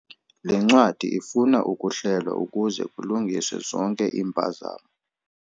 Le ncwadi ifuna ukuhlelwa ukuze kulungiswe zonke iimpazamo.